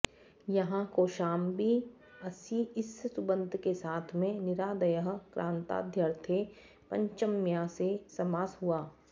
यहाँ कौशाम्बी ङसि इस सुबन्त के साथ में निरादयः क्रान्ताद्यर्थे पञ्चम्या से समास हुआ